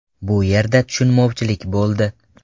Bu yerda tushunmovchilik bo‘ldi.